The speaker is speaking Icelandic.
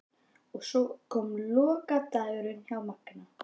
Og svo kom lokadagurinn hjá Manga.